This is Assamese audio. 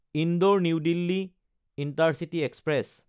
Indore New Delhi intercity express